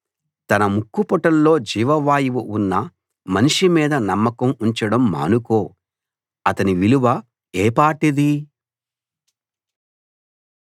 తన ముక్కుపుటాల్లో జీవవాయువు ఉన్న మనిషి మీద నమ్మకం ఉంచడం మానుకో అతని విలువ ఏ పాటిది